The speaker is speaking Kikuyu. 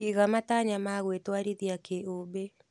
Iga matanya ma gwĩtũarithia kĩũmbe.